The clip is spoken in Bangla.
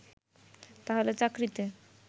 তাহলে চাকরিতে